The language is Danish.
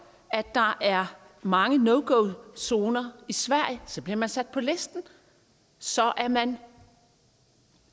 at der er mange no go zoner i sverige så bliver man sat på listen så er man